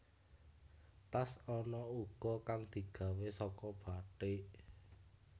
Tas ana uga kang digawé saka bathik